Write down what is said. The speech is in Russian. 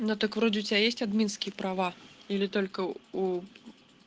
ну так вроде у тебя есть админские права или только у